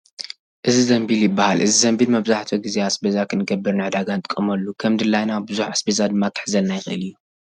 እዚ ዘንቢል ይባሃል። እዚ ዘንቢል መብዛሕትኡ ግዜ ኣስቤዛ ክንገብር ንዒዳጋ ንጥቀመሉ ። ከም ድላይና ቡዙሕ ኣስቤዛ ድማ ክሕዘልና ይክእል እዩ።